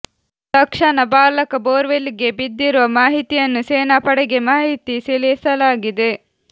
ತಕ್ಷಣ ಬಾಲಕ borewell ಗೆ ಬಿದ್ದಿರುವ ಮಾಹಿತಿಯನ್ನು ಸೇನಾ ಪಡೆಗೆ ಮಾಹಿತಿ ತಿಳಿಸಲಾಗಿದೆ